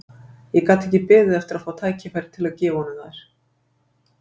Ég gat ekki beðið eftir að fá tækifæri til að gefa honum þær.